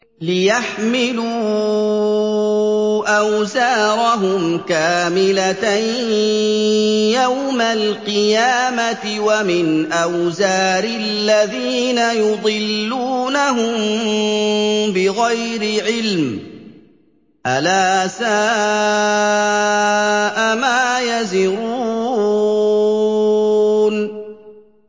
لِيَحْمِلُوا أَوْزَارَهُمْ كَامِلَةً يَوْمَ الْقِيَامَةِ ۙ وَمِنْ أَوْزَارِ الَّذِينَ يُضِلُّونَهُم بِغَيْرِ عِلْمٍ ۗ أَلَا سَاءَ مَا يَزِرُونَ